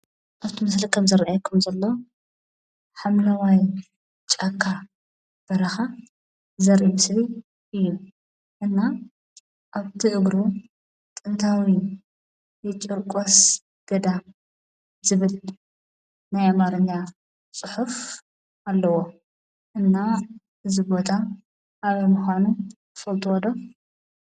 ኣብቲ ምስሊ ከምዝርኣየኩም ዘሎ ሓምለዋይ ጫካ በረኻ ዘርኢ ምስሊ እዩ። እና ኣብቲ እግሩ ጥንታዊ የጨርቆስ ገዳም ዝብል ናይ ኣማርኛ ፅሑፍ ኣለዎ። እና እዚ ቦታ ኣበይ ምዃኑ ትፈልጥዎ ዶ?